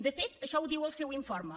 de fet això ho diu el seu informe